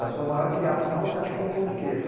Da sua maior criação, você acha que foi o pão de queijo?